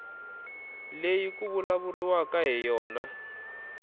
leyi ku vulavuriwaka hi yona